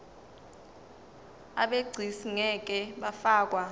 abegcis ngeke bafakwa